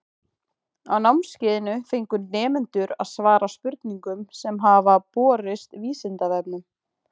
Á námskeiðinu fengu nemendur að svara spurningum sem hafa borist Vísindavefnum.